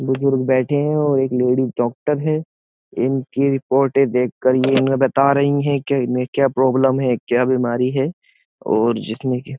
बुजुर्ग बैठे हैं और एक लेडीज डॉक्टर है इनकी रिपोर्टें देखकर ये इन्ह बता रही है कि इनमें क्या प्रॉब्लम है क्या बीमारी है और जिसमें कि --